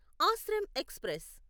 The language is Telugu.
ఆశ్రమ్ ఎక్స్ప్రెస్